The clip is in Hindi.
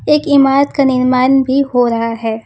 एक ईमारत का निर्माण भी हो रहा हैं।